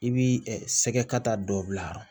I b'i ɛ sɛgɛta dɔ bila